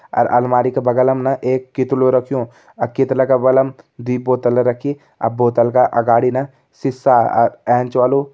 अर अलमारी का बगल मा न एक कीतलु रख्युं अर कीतला का बगल दुई बोतल रखीं बोतल का अगाड़ी न सिसा अ एंच वालू --